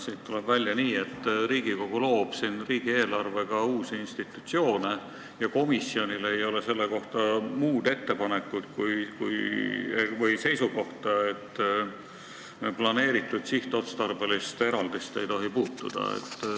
Sellest tuleb välja nii, et Riigikogu loob siin riigieelarvega uusi institutsioone ja komisjonil ei ole selle kohta muud seisukohta, kui et planeeritud sihtotstarbelist eraldist ei tohi puutuda.